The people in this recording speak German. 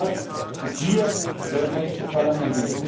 Der richtige Ort ist hier, das Europäische Parlament.